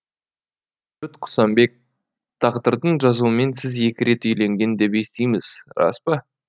құсанбек тағдырдың жазуымен сіз екі рет үйленген деп естиміз рас па